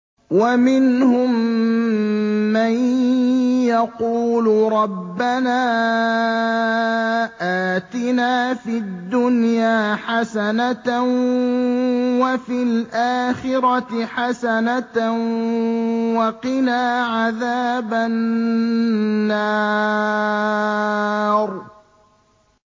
وَمِنْهُم مَّن يَقُولُ رَبَّنَا آتِنَا فِي الدُّنْيَا حَسَنَةً وَفِي الْآخِرَةِ حَسَنَةً وَقِنَا عَذَابَ النَّارِ